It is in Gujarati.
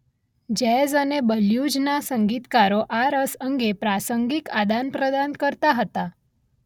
જેઝ અને બલ્યુઝના સંગીતકારો આ રસ અંગે પ્રાસંગિક આદાનપ્રદાન કરતા હતા.